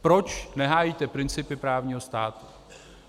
Proč nehájíte principy právního státu?